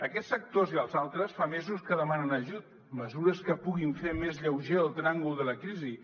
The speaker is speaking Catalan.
aquests sectors i els altres fa mesos que demanen ajut mesures que puguin fer més lleuger el tràngol de la crisi